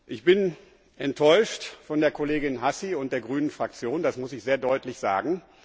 Ich bin enttäuscht von der Kollegin Hassi und der Fraktion der Grünen, das muss ich sehr deutlich sagen.